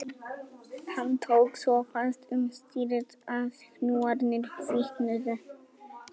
Hann tók svo fast um stýrið að hnúarnir hvítnuðu